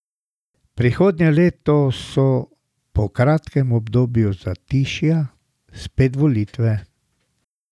Prihodnje leto so, po kratkem obdobju zatišja, spet volitve.